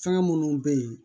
Fɛn minnu bɛ yen